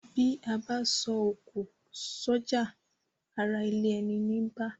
Bí abá so òkò sójà arà ilé eni ní bá